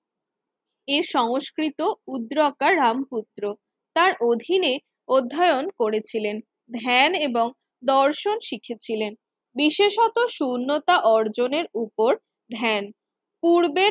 এ সংস্কৃত উদ্রকা রামপুত্র তার অধীনে অধ্যায়ন করেছিলেন। ধ্যান এবং দর্শন শিখেছিলেন বিশেষত শূন্যতা অর্জনের উপর ধ্যান পূর্বে